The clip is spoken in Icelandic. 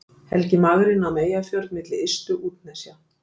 Helgi magri nam Eyjafjörð milli ystu útnesja.